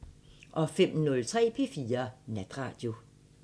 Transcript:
05:03: P4 Natradio